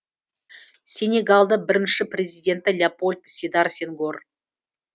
сенегалдың бірінші президенті леопольд седар сенгор